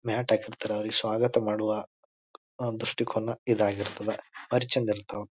Mat ಹಾಕಿರ್ತಾರ ಅವ್ರಿಗೆ ಸ್ವಾಗತ ಮಾಡುವ ಅಹ್ ದೃಷ್ಟಿ ಕೋನ ಇದಾಗಿರ್ತದೆ ಬಾರಿ ಚೆಂದ ಇರ್ತವ.